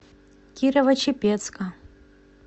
кирово чепецка